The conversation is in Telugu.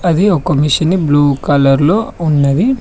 అది ఒక మెషిన్ బ్లూ కలర్ లో ఉన్నది.